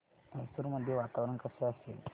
मैसूर मध्ये वातावरण कसे असेल